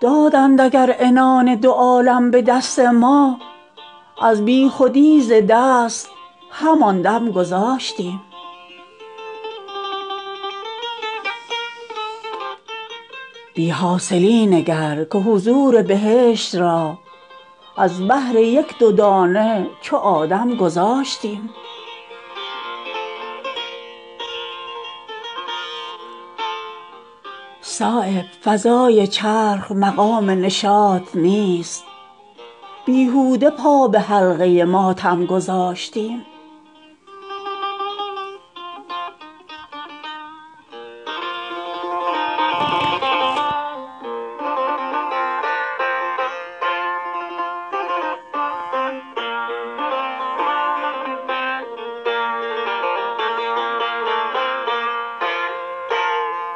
دادند اگر عنان دو عالم به دست ما از بیخودی ز دست همان دم گذاشتیم الماس بی نمک شده بود از موافقت تدبیر زخم و داغ به مرهم گذاشتیم بی حاصلی نگرکه حضور بهشت را از بهر یک دو دانه چو آدم گذاشتیم صایب فضای چرخ مقام نشاط نیست بیهوده پا به حلقه ماتم گذاشتیم